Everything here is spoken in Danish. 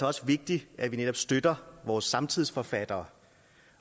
også vigtigt at vi netop støtter vores samtidsforfattere